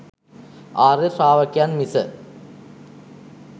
ආර්ය ශ්‍රාවකයන් මිස